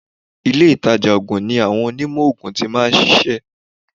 Ilé ìtajà oògùn ni àwọn Onímọ̀ oògùn ti máa ń ṣiṣẹ́.